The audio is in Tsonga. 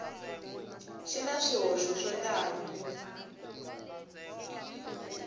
xi na swihoxo swo tala